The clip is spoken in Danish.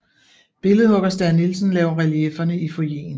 Billedhugger Stæhr Nielsen laver reliefferne i foyeren